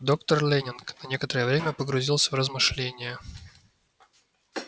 доктор лэннинг на некоторое время погрузился в размышления